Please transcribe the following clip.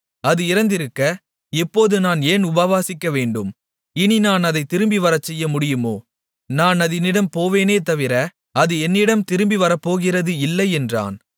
அது இறந்திருக்க இப்போது நான் ஏன் உபவாசிக்க வேண்டும் இனி நான் அதைத் திரும்பிவரச்செய்ய முடியுமோ நான் அதினிடம் போவேனே தவிர அது என்னிடம் திரும்பி வரப்போகிறது இல்லை என்றான்